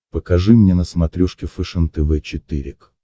покажи мне на смотрешке фэшен тв четыре к